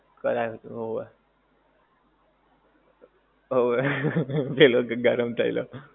કરાયવું તું હોવે. હોવે ડેલો ગરમ થયેલો.